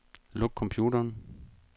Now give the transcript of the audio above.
Luk computeren.